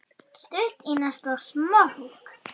Stutt í næsta smók.